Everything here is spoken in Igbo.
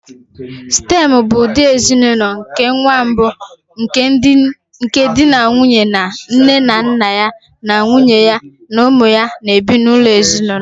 Stem bụ ụdị ezinụlọ nke nwa mbụ nke di na nwunye na nne na nna ya na nwunye ya na ụmụ ya na-ebi n'ụlọ ezinụlọ.